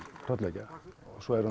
hrollvekja svo er